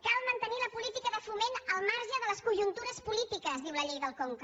cal mantenir la políti·ca de foment al marge de les conjuntures polítiques diu la llei del conca